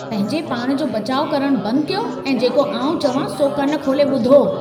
पंहिंजे पाण जो बचाउ करणु बंदि कयो ऐं जेको आउं चवां, सो कन खोले ॿुधो।